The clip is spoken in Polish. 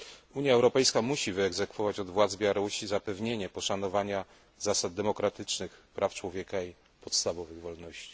Unia Europejska musi wyegzekwować od władz Białorusi zapewnienie poszanowania zasad demokratycznych, praw człowieka i podstawowych wolności.